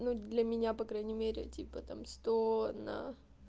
ну для меня по крайней мере типа там сто на